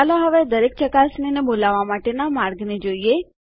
ચાલો હવે દરેક ચકાસણીને બોલાવવા માટેના માર્ગને જોઈએ